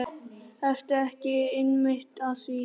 Ertu ekki einmitt að því?